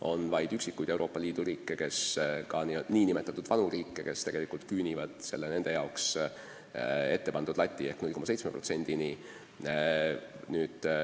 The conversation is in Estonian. On vaid üksikuid Euroopa Liidu riike, ka nn vana Euroopa riike, kes küünivad nendele ette pandud lati ehk 0,7%-ni.